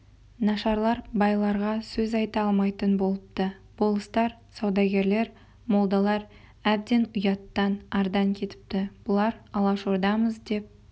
нашарлар байларға сөз айта алмайтын болыпты болыстар саудагерлер молдалар әбден ұяттан ардан кетіпті бұлар алашордамыз деп